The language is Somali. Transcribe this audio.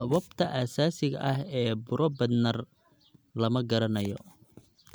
Sababta asaasiga ah ee buro Bednar lama garanayo.